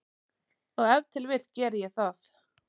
Og ef til vill geri ég það.